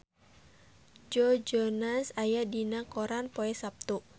Joe Jonas aya dina koran poe Saptu